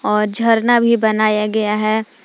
और झरना भी बनाया गया है।